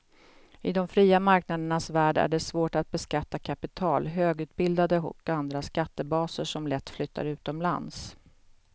I de fria marknadernas värld är det svårt att beskatta kapital, högutbildade och andra skattebaser som lätt flyttar utomlands.